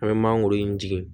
An bɛ mangoro in tigɛ